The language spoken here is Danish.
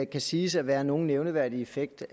kan siges at være nogen nævneværdig effekt